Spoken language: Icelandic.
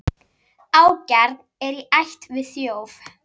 Ágjarn er í ætt við þjóf.